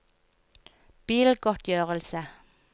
bilgodtgjørelse